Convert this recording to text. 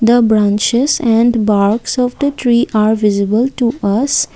the branches and box of the tree are visible to us.